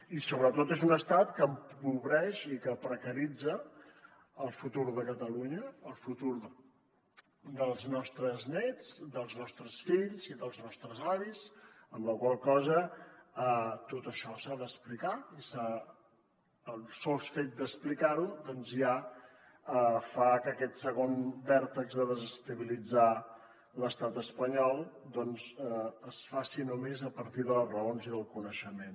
i sobretot és un estat que empobreix i que precaritza el futur de catalunya el futur dels nostres nets dels nostres fills i dels nostres avis amb la qual cosa tot això s’ha d’explicar i el sol fet d’explicar ho doncs ja fa que aquest segon vèrtex de desestabilitzar l’estat espanyol es faci només a partir de les raons i del coneixement